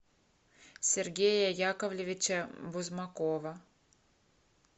сергея яковлевича бузмакова